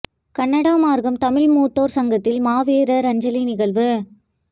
Canada Markham Tamil மூத்தோர் சங்கத்தில் மாவீரர் அஞ்சலி நிகழ்வு